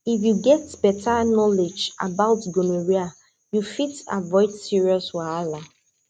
if you get better knowledge about gonorrhea you fit avoid serious wahala